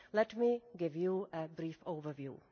Let me give you a brief overview.